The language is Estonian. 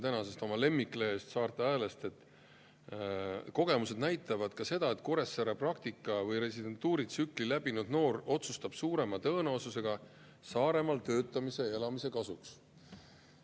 Ma lugesin oma lemmiklehest Saarte Häälest, et kogemused näitavad ka seda, et Kuressaares praktika‑ või residentuuritsükli läbinud noor otsustab suurema tõenäosusega Saaremaal töötamise ja elamise kasuks.